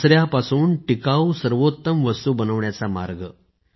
कचऱ्यापासून टिकाऊ सर्वोत्तम वस्तू बनवण्याचा मार्ग